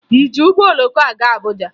Ị ji ụgbọ oloko gaa Abuja?